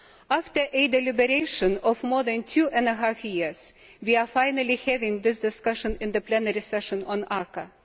After a deliberation of more than two and a half years, we are finally having this discussion in the plenary session on ACAA.